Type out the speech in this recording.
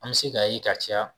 An mi se k'a ye ka caya